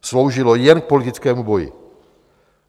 Sloužilo jen k politickému boji.